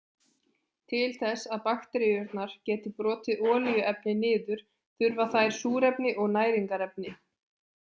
Til þess að bakteríurnar geti brotið olíuefni niður þurfa þær súrefni og næringarefni.